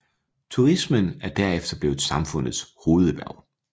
Turismen er derefter blevet samfundets hovederhverv